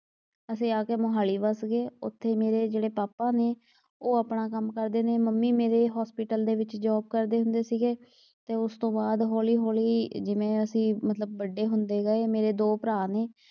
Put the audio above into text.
ਅਸੀਂ ਆ ਕੇ ਮੋਹਾਲੀ ਵਸ ਗਏ। ਉੱਥੇ ਮੇਰੇ ਜਿਹੜੇ ਪਾਪਾ ਨੇ ਉਹ ਆਪਣਾ ਕੰਮ ਕਰਦੇ ਨੇ। ਮੰਮੀ ਮੇਰੇ ਹੌਸਪੀਟਲ ਦੇ ਵਿਚ ਜੌਬ ਕਰਦੇ ਹੁੰਦੇ ਸੀਗੇ ਤੇ ਉਸ ਤੋਂ ਬਾਅਦ ਹੌਲੀ ਹੌਲੀ ਜਿਵੇਂ ਅਸੀਂ ਮਤਲਬ ਵੱਡੇ ਹੁੰਦੇ ਗਏ। ਮੇਰੇ ਦੋ ਭਰਾ ਨੇ।